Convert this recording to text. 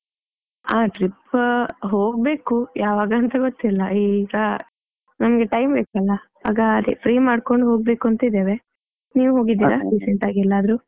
ಹಾ trip ಹೋಗ್ಬೇಕು, ಯಾವಾಗ ಅಂತ ಗೊತ್ತಿಲ್ಲ ಈಗಾ ನನ್ಗೆ time ಬೇಕಲ್ಲ ಆಗ ಅದೆ, free ಮಾಡ್ಕೊಂಡು ಹೋಗ್ಬೇಕಂತ ಇದ್ದೇವೆ. ನೀವ್ ಹೋಗಿದ್ದೀರಾ recent ಆಗಿ ಎಲ್ಲಾದ್ರೂ?